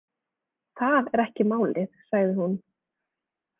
Það er ekki málið, sagði hún.